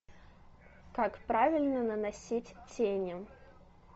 как правильно наносить тени